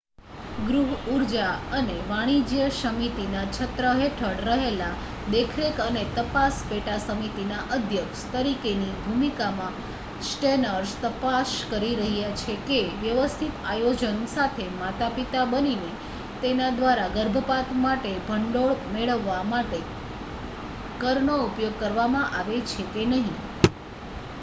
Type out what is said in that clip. ગૃહ ઉર્જા અને વાણિજ્ય સમિતિના છત્ર હેઠળ રહેલા દેખરેખ અને તપાસ પેટા-સમિતિના અધ્યક્ષ તરીકેની ભૂમિકામાં સ્ટેનર્સ તપાસ કરી રહ્યા છે કે વ્યવસ્થિત આયોજન સાથે માતા-પિતા બનીને તેના દ્વારા ગર્ભપાત માટે ભંડોળ મેળવવા માટે કરનો ઉપયોગ કરવામાં આવે છે કે નહીં